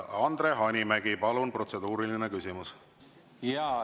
Andre Hanimägi, palun, protseduuriline küsimus!